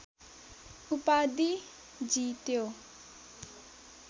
उपाधि जित्यो